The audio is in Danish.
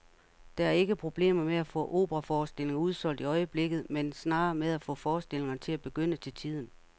Der er ikke problemer med at få operaforestillinger udsolgt i øjeblikket, men snarere med at få forestillingerne til at begynde til tiden.